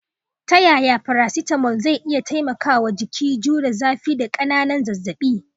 Ta yaya paracetamol zai iya taimakawa jiki jure zafi da ƙananan zazzabi?